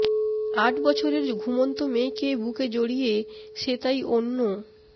আট বছরের ঘুমন্ত মেয়েকে বুকে জড়িয়ে সে তাই অন্য